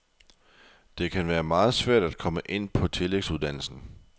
Det kan være meget svært at komme ind på tillægsuddannelsen.